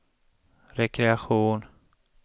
rekreation